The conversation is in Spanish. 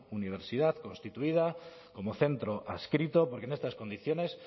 universidad constituida como centro adscrito porque en estas condiciones